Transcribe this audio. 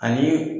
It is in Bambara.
Ani